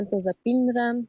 mən dözə bilmirəm,